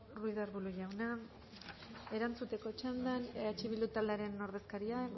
ruiz de arbulo jauna erantzuteko txandan eh bildu taldearen ordezkaria